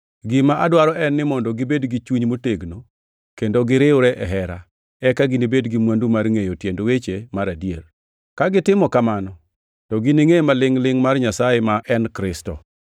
Gima adwaro en ni mondo gibed gi chuny motegno kendo giriwre e hera, eka ginibed gi mwandu mar ngʼeyo tiend weche mar adier. Ka gitimo kamano, to giningʼe ma lingʼ-lingʼ mar Nyasaye ma en Kristo,